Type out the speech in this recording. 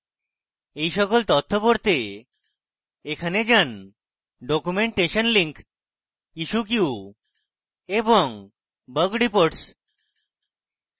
এই সকল তথ্য পড়তে এখানে যান: documentation লিঙ্ক issue কিউ এবং bug রিপোর্টস